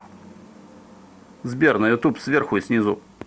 сбер на ютуб сверху и снизу